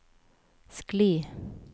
skli